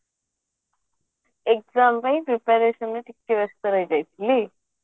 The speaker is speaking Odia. exam ପାଇଁ preparationରେ ଟିକେ ବ୍ୟସ୍ତ ରହିଯାଇଥିଲି